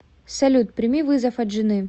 салют прими вызов от жены